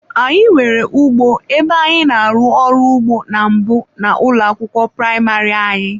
Anyị nwere ugbo ebe anyị na-arụ ọrụ ugbo na mbụ na ụlọ akwụkwọ praịmarị anyị.